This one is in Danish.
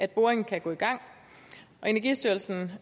boringen kan gå i gang og energistyrelsen